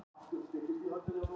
Leitin hófst á Vestfjarðamiðum